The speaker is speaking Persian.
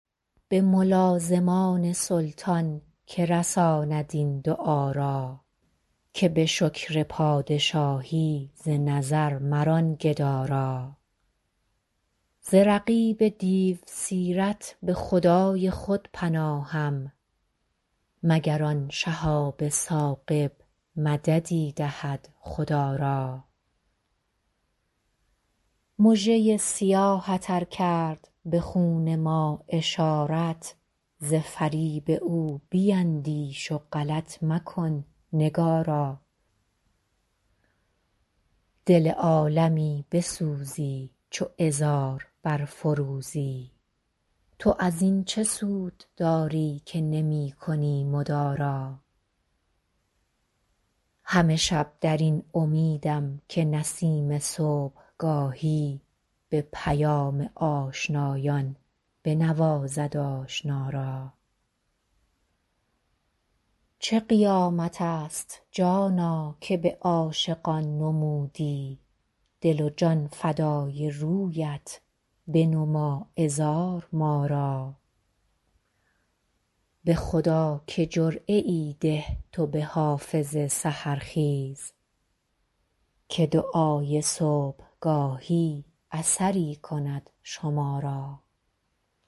به ملازمان سلطان که رساند این دعا را که به شکر پادشاهی ز نظر مران گدا را ز رقیب دیوسیرت به خدای خود پناهم مگر آن شهاب ثاقب مددی دهد خدا را مژه ی سیاهت ار کرد به خون ما اشارت ز فریب او بیندیش و غلط مکن نگارا دل عالمی بسوزی چو عذار برفروزی تو از این چه سود داری که نمی کنی مدارا همه شب در این امیدم که نسیم صبحگاهی به پیام آشنایان بنوازد آشنا را چه قیامت است جانا که به عاشقان نمودی دل و جان فدای رویت بنما عذار ما را به خدا که جرعه ای ده تو به حافظ سحرخیز که دعای صبحگاهی اثری کند شما را